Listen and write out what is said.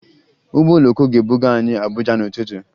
Ụgbọ oloko ga-ebuga anyị Abuja n'ụtụtụ